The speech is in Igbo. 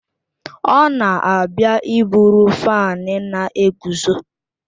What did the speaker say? Ọ na-abịa iburu fáan na-eguzo